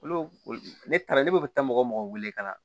Olu ne ne taara ne bɛ taa mɔgɔ mɔgɔ wele ka na